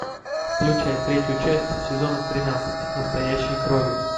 включай третью часть сезона тринадцать настоящей крови